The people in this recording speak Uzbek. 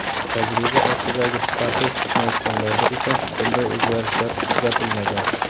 Tajriba ostidagi parhez tutmayotganlarda esa bunday o‘zgarishlar kuzatilmagan.